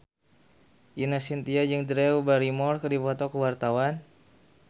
Ine Shintya jeung Drew Barrymore keur dipoto ku wartawan